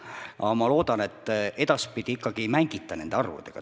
Aga ma loodan, et edaspidi ikkagi ei mängita nende arvudega.